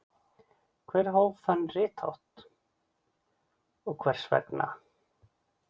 Hver hóf þann rithátt og hvers vegna?